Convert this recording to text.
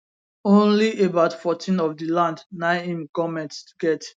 only about 14 of di land na im goment get